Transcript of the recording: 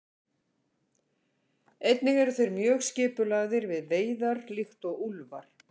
Einnig eru þeir mjög skipulagðir við veiðar líkt og úlfar.